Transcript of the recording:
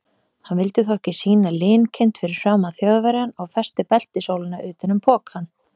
Hann vildi þó ekki sýna linkind fyrir framan Þjóðverjann og festi beltisólina utan um pokann.